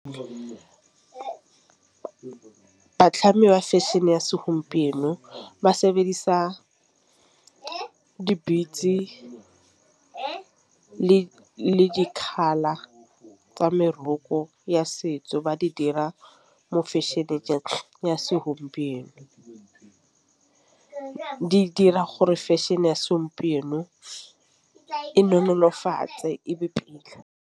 Batlhami ba fashion-e ya segompieno ba sebedisa di-beats le di-colour tsa meroko ya setso ba di dira mo fashion-e ya segompieno. Di dira gore fashion-e ya segompieno e nolofatse e be pila.